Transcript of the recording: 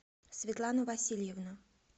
светлану васильевну